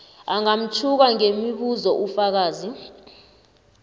angamtjhuka ngemibuzo ufakazi